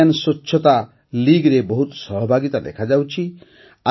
Indian ସ୍ୱଛତା Leagueରେ ବହୁତ ସହଭାଗିତା ଦେଖାଯାଉଛି